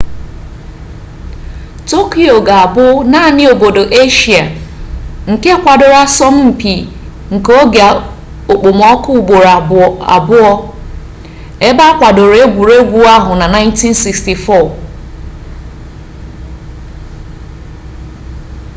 tokyo ga-abụ naanị obodo eshia nke kwadoro asọmpi nke oge okpomọkụ ugboro abụọ ebe akwadoro egwuregwu ahụ na 1964